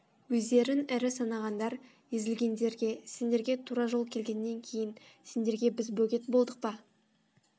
өздерін ірі санағандар езілгендерге сендерге тура жол келгеннен кейін сендерге біз бөгет болдық па